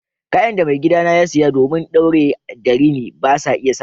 Kayan de maigida na ya siya domin daure da rini basa isa ba.